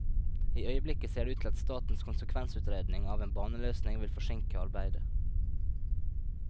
I øyeblikket ser det ut til at statens konsekvensutredning av en baneløsning vil forsinke arbeidet.